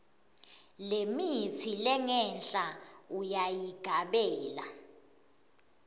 lemitsi lengenhla uyayigabela